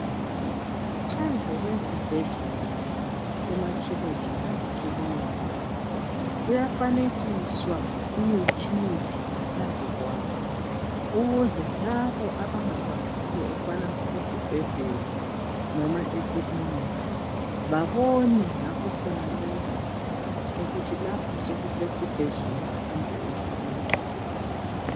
Phandle kwezibhedlela emakhemis lemakilinika kuyafanekiswa imithimithi ngaphandle kwawo ukuze labo abangakwaziyo ukubana kusesibhedlela noma ekilinika babone ngakho khonalokho ukuthi lapha sokusesibhedlela kumbe ekiliniki.